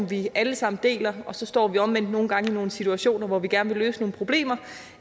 vi alle sammen deler så står vi omvendt nogle gange i nogle situationer hvor vi gerne vil løse nogle problemer